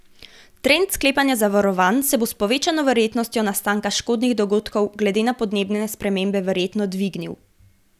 Trend sklepanja zavarovanj se bo s povečano verjetnostjo nastanka škodnih dogodkov glede na podnebne spremembe verjetno dvignil.